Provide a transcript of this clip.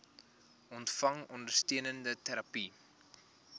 ontvang ondersteunende terapie